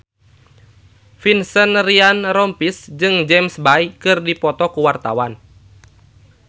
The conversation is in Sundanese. Vincent Ryan Rompies jeung James Bay keur dipoto ku wartawan